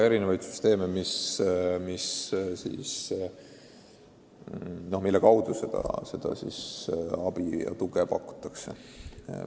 Süsteemid, mille kaudu seda tuge pakutakse, on erinevad.